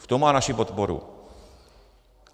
V tom má naši podporu.